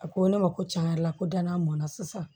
A ko ne ma ko cɛn yɛrɛ la ko danna mɔnna sisan